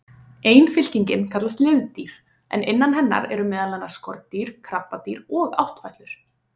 Ein fylkingin kallast liðdýr en innan hennar eru meðal annars skordýr, krabbadýr og áttfætlur.